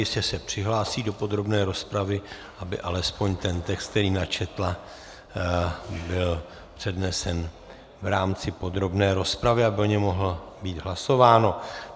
Jistě se přihlásí do podrobné rozpravy, aby alespoň ten text, který načetla, byl přednesen v rámci podrobné rozpravy, aby o něm mohlo být hlasováno.